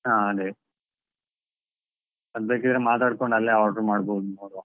ಹಾ ಅದೇ, ಅದ್ ಬೇಕಿದ್ರೆ ಅಲ್ಲೇ ಮಾತಾಡ್ಕೊಂಡ್ order ಮಾಡ್ಬೋದು, ನೋಡ್ವಾ?